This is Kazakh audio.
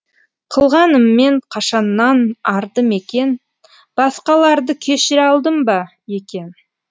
қылғаныммен қашаннан арды мекен басқаларды кешіре алдым ба екен